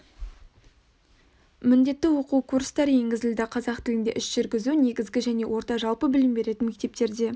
міндетті оқыту курстары енгізілді қазақ тілінде іс жүргізу негізгі және орта жалпы білім беретін мектептерде